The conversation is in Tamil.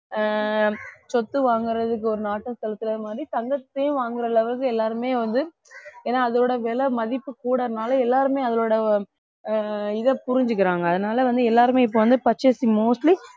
ஆஹ் சொத்து வாங்குறதுக்கு ஒரு நாட்டம் செலுத்துற மாதிரி தங்கத்தையும் வாங்குற அளவுக்கு எல்லாருமே வந்து ஏன்னா அதோட விலை மதிப்பு கூடுறதுனால எல்லாருமே அதோட ஆஹ் இதை புரிஞ்சுக்கிறாங்க அதனால வந்து எல்லாருமே இப்ப வந்து purchase mostly